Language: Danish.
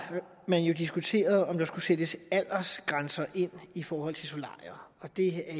man diskuteret om der skulle sættes aldersgrænser ind i forhold til solarier og det er